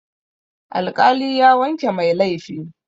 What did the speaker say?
Alƙali ya wanke mai laifi.